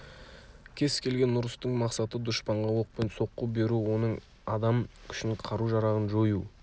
кез келген ұрыстың мақсаты дұшпанға оқпен соққы беру оның адам күшін қару-жарағын жою